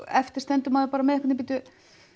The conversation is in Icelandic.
eftir stendur maður með bíddu